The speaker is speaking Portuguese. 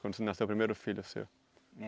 Quando nasceu o primeiro filho seu?